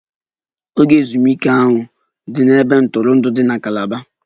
Oge ezumike ahụ dị n'ebe ntụrụndụ dị na Calaba